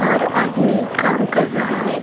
और आदमी काम कर रहा है।